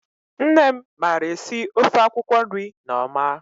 Nne m mara esi ofe akwụkwọ nri ne ọma.